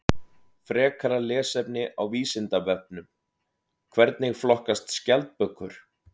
Frekara lesefni á Vísindavefnum: Hvernig flokkast skjaldbökur?